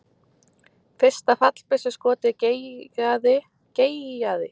Fyrsta fallbyssuskotið geigaði en næstu skot hittu beint í mark.